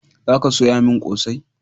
Za ka soya min kosai!